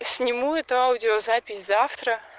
сниму это аудиозапись завтра